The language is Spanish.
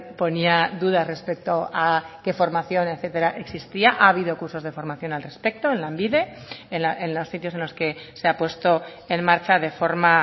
ponía dudas respecto a qué formación etcétera existía ha habido cursos de formación al respecto en lanbide en los sitios en los que se ha puesto en marcha de forma